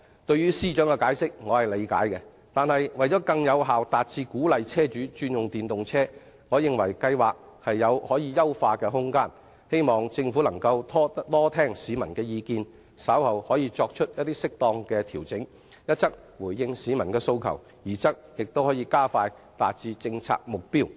對於司長的解釋我可以理解，但為更有效達致鼓勵車主轉用電動車，我認為計劃有可優化的空間，希望政府能多聽市民的意見，稍後作出適當的調整，一則回應市民的訴求，二則可加快達致政策目標。